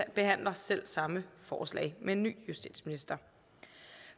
behandler selv samme forslag med en ny justitsminister